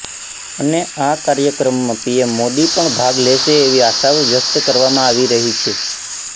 અને આ કાર્યક્રમમાં પીએમ મોદી પણ ભાગ લેશે તેવી આશાઓ વ્યક્ત કરવામાં આવી રહી છે